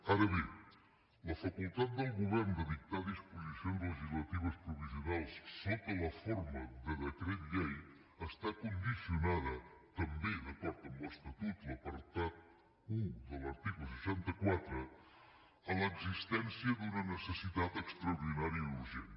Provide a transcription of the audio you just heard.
ara bé la facultat del govern de dictar disposicions legislatives provisionals sota la forma de decret llei està condicionada també d’acord amb l’estatut l’apartat un de l’article seixanta quatre a l’existència d’una necessitat extraordinària i urgent